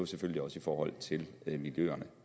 selvfølgelig også i forhold til miljøerne